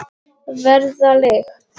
Verða lykt.